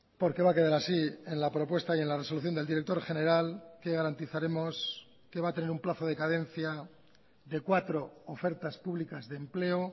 porque va a quedar así en la propuesta y en la resolución del director general que garantizaremos que va a tener un plazo de cadencia de cuatro ofertas públicas de empleo